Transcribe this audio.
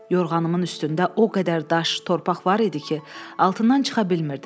Yorğanımın üstündə o qədər daş, torpaq var idi ki, altından çıxa bilmirdim.